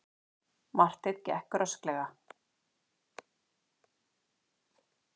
Marteinn gekk rösklega.